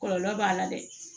Kɔlɔlɔ b'a la dɛ